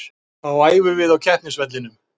Þá æfum við á keppnisvellinum.